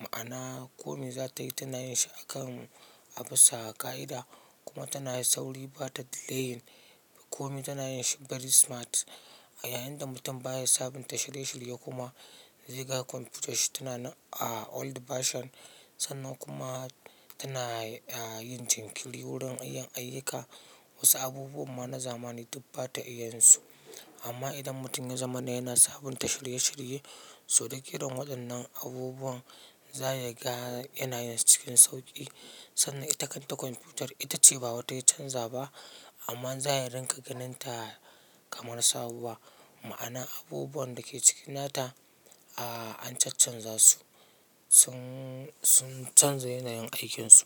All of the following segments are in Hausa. Ma'ana kome za ta yi tana yin shi akan abisab ƙa'ida kuma tana sauri ba ta delayin. Kome tana yin shi very smart. Yayin da mutum baya sabunta shirye-shirye, kuma zai ga computan shi tana nan a old version. Sannan kuma tana yin jinkiri wurin yin ayyuka. Wasu abubuwan ma na zamani duk bata iya yin su. Amma idan mutum ya zamana yana sabunta shirye-shirye, so duk irin waɗannan abubuwan za ya ga yana yin su cikin sauƙi. Sannan ita kanta kwamfutar ita ce ba wata ya canza ba amma za ya ringa ganin ta kamar sabuwa. Ma'ana abubuwan da ke cikin nata, ah, an caccanza su. Sun, sun canza yanayin aikinsu.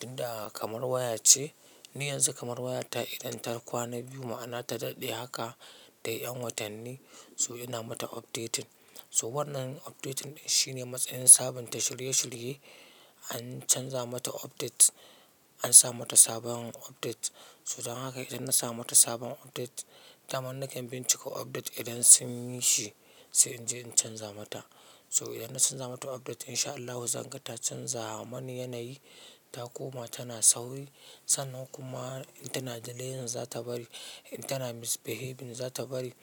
Inda kamar waya ce, ni yanzu kamar wayata idan ta kwana biyu ma'ana ta daɗe haka tayi ƴan watanni so ina mata updating. So wannan updating shine matsayin sabunta shirye-shirye. An canza mata update, an sa mata sabon update. So don haka idan na samu wata sabon update, dama nakan binciko update idan sun yi shi sai in je in canza mata. So idan na canza mata update insha Allahu zan ga ta canza mani yanayi, ta koma tana sauri. Sannan kuma in tana delayin za ta bari, in tana misbehaving za ta bari.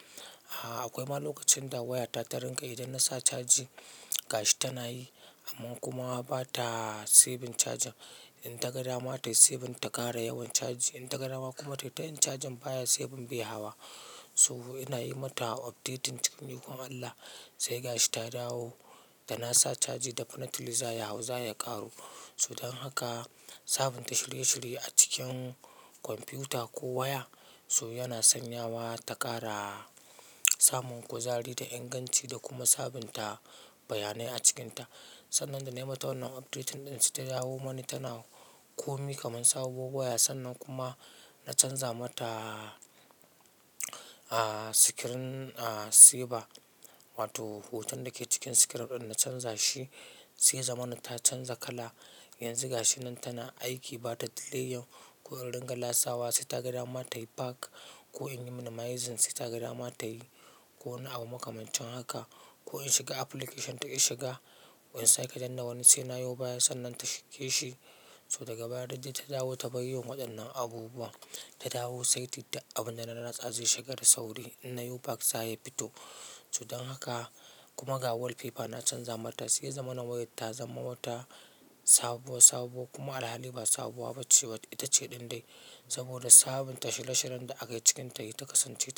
Akwai ma lokacin da wayata ta rinƙa idan nasa caji. Ga shi tana yi amma kuma ba ta saving cajin. In taga dama tayi saving ta ƙara yawan caji, in taga dama kuma tai tayin cajin baya saving bai hawa. So ina yi mata updating cikin ikon Allah sai ga shi ta dawo da na sa caji difenetly za ya hau za ya ƙaru. So don haka sabunta shirye-shirye a cikin kwamfuta ko waya so yana sanyawa ta ƙara samun kuzari da inganci da kuma sabunta bayanai a cikinta. Sannan da na yi mata wannan updating ɗin, sai ta dawo mani tana komai kamar sabuwar waya. Sannan kuma na canza mata, ah, screen saver wato hoton da ke cikin screen ɗin na canza shi, sai ya zamana ta canza kala. Yanzu ga shi nan tana aiki ba ta delayin ko in ringa latsawa sai ta ga dama tayi back ko in yi minimizing sai ta ga dama tayi ko wani abu makamancin haka. Ko in shiga application duk in shiga ko in sake danna wani sai na yo baya sannan ta shige shi. So daga baya duk dai ta dawo ta bar yin waɗannan abubuwan. Ta dawo saiti duk abun da na latsa zai shiga da sauri inna yo back za ya fito. So don haka kuma ga wallpaper na canza mata sai ya zamana wayar ta zama wata sabuwa sabuwa kuma alhali ba sabuwa ba ce. Ita ce ɗin dai saboda sabunta shirye-shiryen da aka yi cikinta sai ta kasance ta.